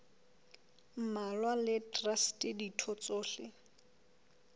mmalwa le traste ditho tsohle